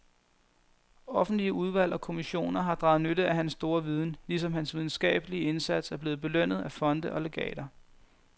Offentlige udvalg og kommissioner har draget nytte af hans store viden, ligesom hans videnskabelige indsats er blevet belønnet af fonde og legater.